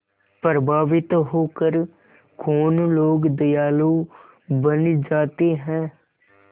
प्रभावित होकर कौन लोग दयालु बन जाते हैं